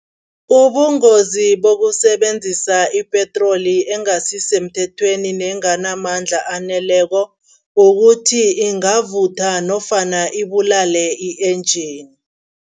Ubungozi bokusebenzisa ipetroli engasisemthethweni nenganamandla aneleko kukuthi, ingavutha nofana ibulale i-engine.